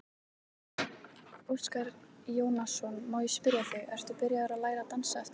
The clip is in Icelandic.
Óskar Jónasson, má ég spyrja þig, ert þú byrjaður að læra að dansa eftir keppnina?